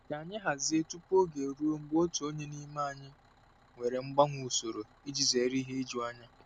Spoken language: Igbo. Ka anyị hazie tupu oge eruo mgbe otu onye n'ime anyị nwere mgbanwe usoro iji zere ihe ijuanya.